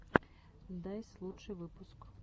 дайс лучший выпуск